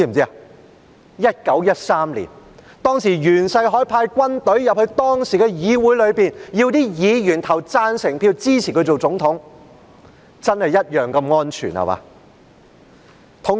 是1913年，當時袁世凱派軍隊進入議會，要求議員投贊成票支持他成為總統，真是同樣地"安全"，對嗎？